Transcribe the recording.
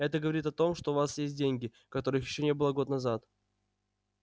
это говорит о том что у вас есть деньги которых ещё не было год назад